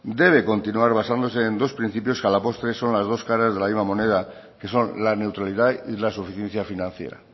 debe continuar basándose en dos principios que a la postre son las dos caras de la misma moneda que son la neutralidad y la suficiencia financiera